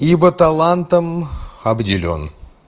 ибо талантом обделён